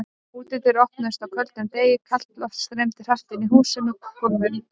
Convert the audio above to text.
Útidyr opnaðar á köldum degi, kalt loft streymir hratt inn í húsið með gólfum.